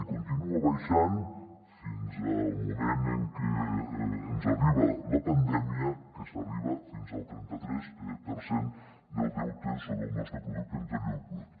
i continua baixant fins al moment en què ens arriba la pandèmia que s’arriba fins al trenta tres per cent del deute sobre el nostre producte interior brut